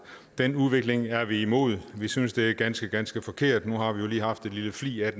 den udvikling er vi imod vi synes det er ganske ganske forkert nu har vi jo lige haft en lille flig af